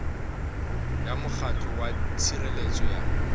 ya mokgatlo wa tshireletso ya